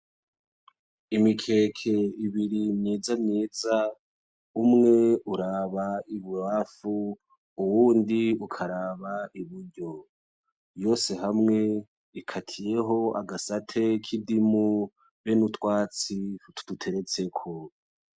Imikeke ibiri myiza myiza ,umwe uraba ibubafu ,uwundi ukaraba iburyo; yose hamwe ikatiyeho agasate k'indimu be n'utwatsi tuduteretseko.